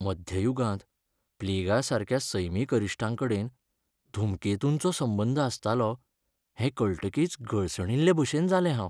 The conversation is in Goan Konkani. मध्ययुगांत प्लेगासारक्या सैमीक अरिश्टांकडेन धूमकेतूंचो संबंद आसतालो हें कळटकीच गळसणिल्लेभशेन जालें हांव.